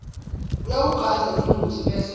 uyawugandza lomutsi bese